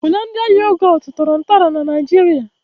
"Hollandia Yogut" tọrọ ntọala na Naịjirịa